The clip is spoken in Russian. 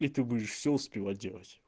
и ты будешь все успевать делать